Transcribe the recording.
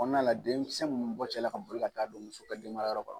la denmisɛn mɔgɔ cɛla ka boli ka taa don muso ka denmara yɔrɔ kɔnɔ.